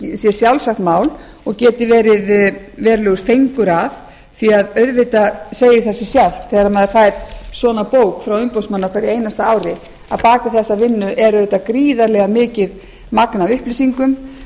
sé sjálfsagt mál og geti verið verulegur fengur að því auðvitað segir það sig sjálft að þegar maður fær svona bók frá umboðsmanni á hverju einasta ári á bak við þessa vinnu er auðvitað gríðarlega mikið magn af upplýsingum sem